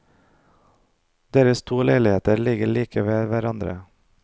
Deres to leiligheter ligger like ved hverandre.